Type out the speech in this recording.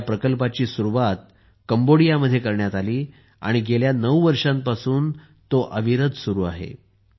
ह्या प्रकल्पाची सुरुवात कंबोडियामध्ये करण्यात आली आणि गेल्या 9 वर्षांपासून तो अविरत सुरू आहे